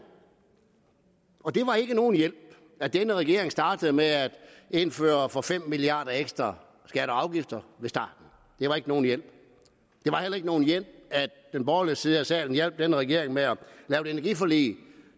og det var ikke nogen hjælp at denne regering startede med at indføre for fem milliard kroner ekstra skatter og afgifter det var ikke nogen hjælp det var heller ikke nogen hjælp at den borgerlige side af salen hjalp denne regering med at lave et energiforlig